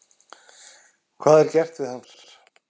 Hvað er gert við hann þar?